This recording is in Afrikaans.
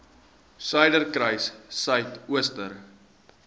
suiderkruissuidooster